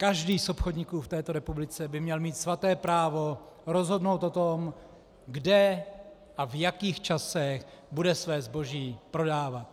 Každý z obchodníků v této republice by měl mít svaté právo rozhodnout o tom, kde a v jakých časech bude své zboží prodávat.